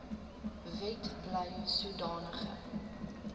wet bly sodanige